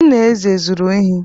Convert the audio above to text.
Nna Eze zuru ehi.